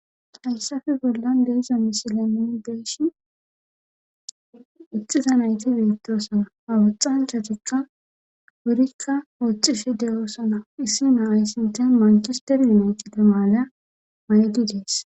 Hayssafe bollan deisa misileii deeshin ixiza nayti biittosana awuxanchatikka burikka wooxxi shi de7oosona issi naa ayssinten mankisteri naytide maala maydi dees.